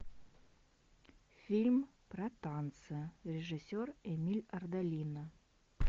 фильм про танцы режиссер эмиль ардолино